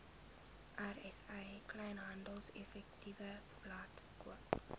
rsa kleinhandeleffektewebblad koop